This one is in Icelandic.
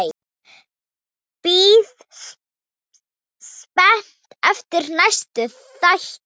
Bíð spennt eftir næsta þætti.